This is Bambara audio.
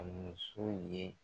A ye